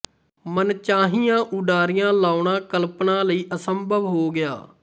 ਮਨਚਾਹੀਆਂ ਉਡਾਰੀਆਂ ਲਾਉਣਾ ਕਲਪਨਾ ਲਈ ਅਸੰਭਵ ਹੋ ਗਿਆ